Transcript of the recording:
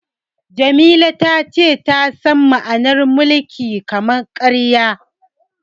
Jamila ta ce ta san ma'anar mulkin kama-karya.